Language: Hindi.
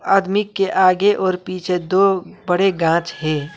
आदमी के आगे और पीछे दो बड़े गांच है।